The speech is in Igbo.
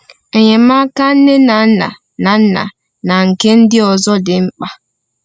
Enyemaka nne na nna na nna na nke ndị ọzọ dị mkpa.